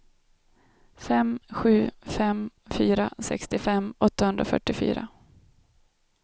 fem sju fem fyra sextiofem åttahundrafyrtiofyra